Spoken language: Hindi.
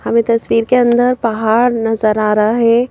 हमें तस्वीर के अंदर पहाड़ नजर आ रहा है ।